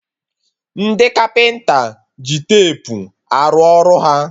Ndị kapịnta ji tepu arụ ọrụ ha